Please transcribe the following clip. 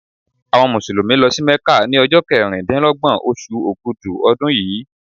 Àwọn Mùsùlùmí lọ sí Mecca ni ọjọ́ keríndínlọ́gbọ̀n oṣù Ògudù ọdún yìí.